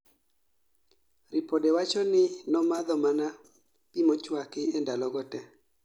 Ripode wacho ni nomadho mana pi mochuaki e ndalo go te